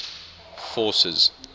forces